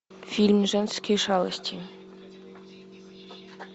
фильм женские шалости